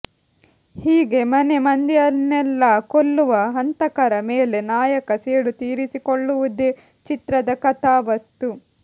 ಹೀಗೆ ಮನೆ ಮಂದಿಯನ್ನೆಲ್ಲಾ ಕೊಲ್ಲುವ ಹಂತಕರ ಮೇಲೆ ನಾಯಕ ಸೇಡು ತೀರಿಸಿಕೊಳ್ಳುವುದೇ ಚಿತ್ರದ ಕಥಾವಸ್ತು